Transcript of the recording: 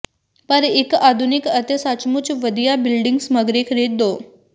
ਪਰ ਇੱਕ ਆਧੁਨਿਕ ਅਤੇ ਸਚਮੁਚ ਵਧੀਆ ਬਿਲਡਿੰਗ ਸਮੱਗਰੀ ਖ਼ਰੀਦੋ